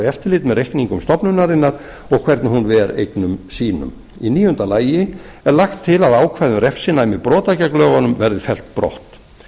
eftirlit með reikningum stofnunarinnar og hvernig hún ver eignum sínum í níunda lagi er lagt til að ákvæði um refsinæmi brota gegn lögunum verði fellt brott